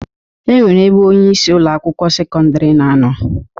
E nwere ebe onyeisi Ụlọ akwụkwọ sekọndrị na-anọ.